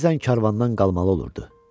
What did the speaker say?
Bəzən karvandan qalmalı olurdu.